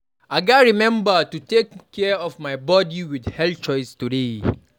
I gats remember to take care of my body with healthy choices today.